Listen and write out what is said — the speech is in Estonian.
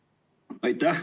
Aitäh!